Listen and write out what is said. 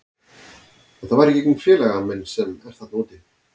Þetta var í gegnum félaga minn sem er þarna úti.